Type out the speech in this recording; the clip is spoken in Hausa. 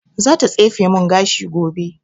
Za ta tsefe mun gashi gobe